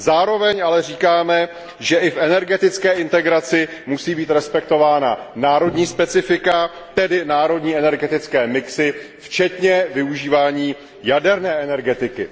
Zároveň ale říkáme, že i v energetické integraci musí být respektována národní specifika, tedy národní energetické mixy, včetně využívání jaderné energetiky.